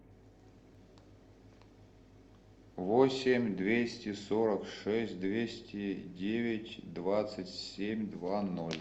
восемь двести сорок шесть двести девять двадцать семь два ноль